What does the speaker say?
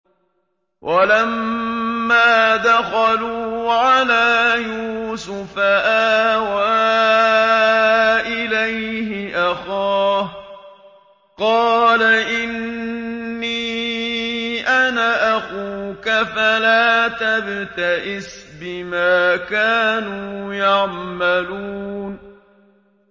وَلَمَّا دَخَلُوا عَلَىٰ يُوسُفَ آوَىٰ إِلَيْهِ أَخَاهُ ۖ قَالَ إِنِّي أَنَا أَخُوكَ فَلَا تَبْتَئِسْ بِمَا كَانُوا يَعْمَلُونَ